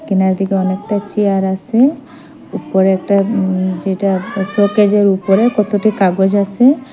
কোনার দিকে অনেকটা চিয়ার আসে উপরে একটা উ যেইটা শোকেসের উপরে কতটি কাগজ আসে।